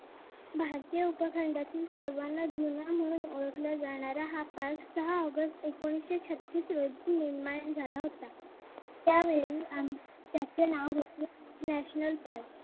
भारतीय उपखंडतील सर्वाना जुना म्हणून ओळखला जाणारा हा काळ सहा ऑगस्ट एकोणविशे छत्तीस रोजी झाला होता त्यावेळी त्याचे नाव होते national park